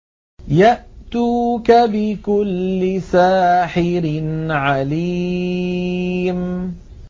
يَأْتُوكَ بِكُلِّ سَاحِرٍ عَلِيمٍ